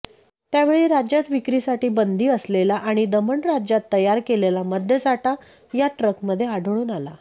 त्यावेळी राज्यात विक्रीसाठी बंदी असलेला आणि दमण राज्यात तयार केलेला मद्यसाठा या ट्रकमध्ये आढळून आला